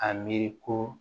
A miiri ko